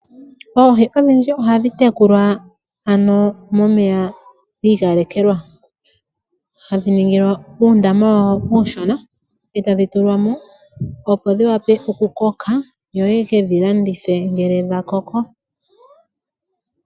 Oohi ondhidji oha dhi tekulwa ano momeya giikolekelwa hadhi ningilwa uundama wawo uushona e tadhi tulwamo opo dhi wape okukoka yo yeke dhi landithe ngele dha koko.